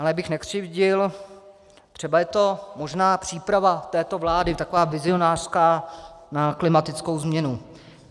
Ale abych nekřivdil, třeba je to možná příprava této vlády, taková vizionářská, na klimatickou změnu.